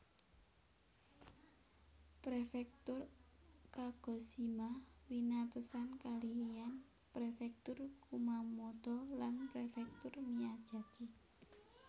Prefektur Kagoshima winatesan kalihan Prefektur Kumamoto lan Prefektur Miyazaki